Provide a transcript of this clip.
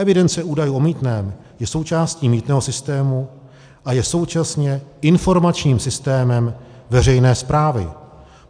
Evidence údajů o mýtném je součástí mýtného systému a je současně informačním systémem veřejné správy.